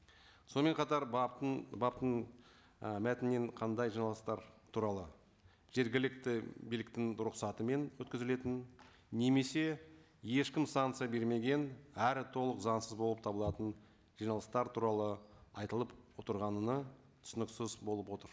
сонымен қатар баптың і мәтінінен қандай жиналыстар туралы жергілікті биліктің рұқсатымен өткізілетін немесе ешкім санкция бермеген әрі толық заңсыз болып табылатын жиналыстар туралы айтылып отырғанына түсініксіз болып отыр